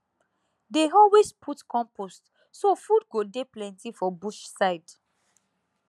dey always put compost so food go dey plenty for bush side